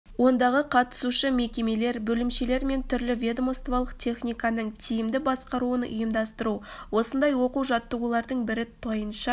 ондағы қатысушы мекемелер бөлімшелері мен түрлі ведомстволық техниканың тиімді басқаруын ұйымдастыру осындай оқу-жаттығулардың бірі тайынша